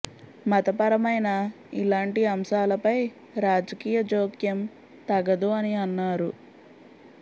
మతపరమైన ఇలాంటి అంశాల పై రాజకీయ జోక్యం తగదు అని అన్నారు